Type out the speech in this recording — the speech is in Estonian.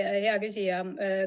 Aitäh, hea küsija!